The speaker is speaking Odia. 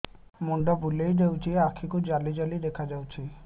ମୁଣ୍ଡ ବୁଲେଇ ଦେଉଛି ଆଖି କୁ ଜାଲି ଜାଲି ଦେଖା ଯାଉଛି